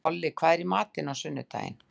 Olli, hvað er í matinn á sunnudaginn?